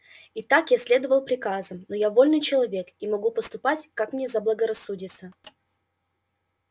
итак я следовал приказам но я вольный человек и могу поступать как мне заблагорассудится